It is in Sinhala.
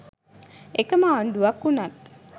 එකම ආණ්ඩුවක වුණත්